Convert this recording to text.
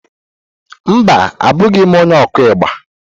Mba, Abụghị m onye okú igba.